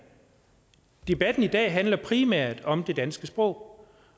debatten i dag handler primært om det danske sprog